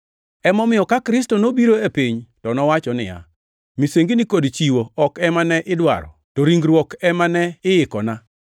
Emomiyo ka Kristo nobiro e piny to nowacho niya, “Misengini kod chiwo ok ema ne idwaro, to ringruok ema ne iikona;